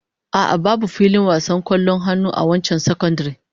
A'a, babu filin wasan kwallon hannu a wancan sakandaren